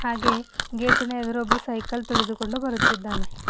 ಹಾಗೆ ಗೇಟಿನ ಎದುರು ಒಬ್ಬ ಸೈಕಲ್ ತಿಳಿದುಕೊಂಡು ಬರುತ್ತಿದ್ದಾನೆ.